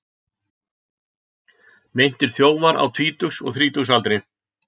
Meintir þjófar á tvítugs og þrítugsaldri